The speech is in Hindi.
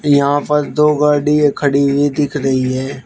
यहां पर दो गाड़ीया खड़ी हुई दिख रही हैं।